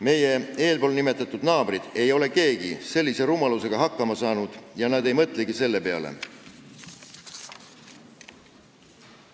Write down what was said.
Meie eespool nimetatud naabrid ei ole keegi sellise rumalusega hakkama saanud ja nad ei mõtlegi selle peale.